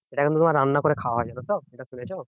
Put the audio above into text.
সেটা কিন্তু তোমার রান্না করে খাওয়া যেত তো এটা শুনেছ